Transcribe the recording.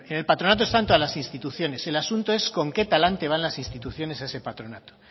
pero en el patronato están todas las instituciones el asunto es con qué talante van las instituciones a ese patronato